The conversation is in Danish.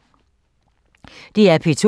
DR P2